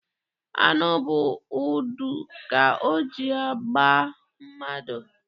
Aṅụ bụ ọdụ ka o ji agba mmadụ.